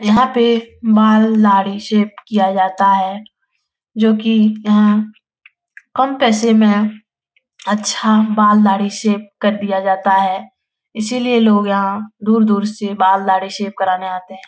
यहाँ पे बाल दाढ़ी शेप किया जाता है जो कि यहाँ कम पैसे में अच्छा बाल दाढ़ी शेप कर दिया जाता है इसी लिए लोग यहाँ दूर-दूर से बाल दाढ़ी शेप करने आते है ।